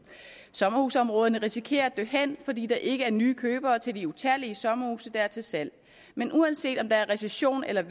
sommerhusområderne risikerer at dø hen fordi der ikke er nye købere til de utallige sommerhuse der er til salg men uanset om der er recession eller